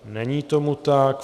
Není tomu tak.